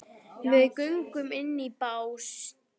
Við göngum inn á bás